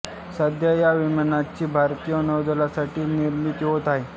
सध्या या विमानांची भारतीय नौदलासाठी निर्मिती होत आहे